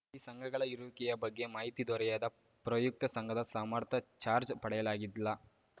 ಈ ಸಂಘಗಳ ಇರುವಿಕೆಯ ಬಗ್ಗೆ ಮಾಹಿತಿ ದೊರೆಯದ ಪ್ರಯುಕ್ತ ಸಂಘದ ಸಮಸ್ತ ಚಾರ್ಜ್ ಪಡೆಯಲಾದ್ಗಿಲ್ಲ